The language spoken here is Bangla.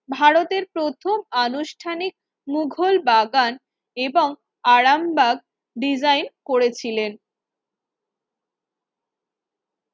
ভারতের প্রথম আনুষ্ঠানিক মুঘল বাগান এবং আরামবাগ ডিজাইন করেছিলেন